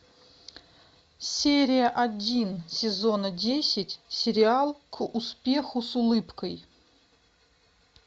серия один сезона десять сериал к успеху с улыбкой